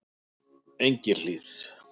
Engihlíð